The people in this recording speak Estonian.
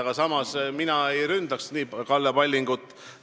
Aga samas, mina ei ründaks nii Kalle Pallingut.